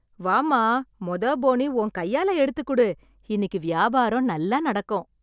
வாம்மா மொத போனி உன் கையால எடுத்துக் கொடு, இன்னிக்கு வியாபாரம் நல்லா நடக்கும்.